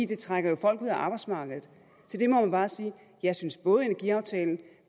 trækker jo folk ud af arbejdsmarkedet til det må man bare sige jeg synes at både energiaftalen